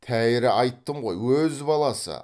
тәйірі айттым ғой өз баласы